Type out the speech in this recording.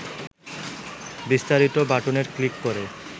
বিস্তারিত' বাটনে ক্লিক করে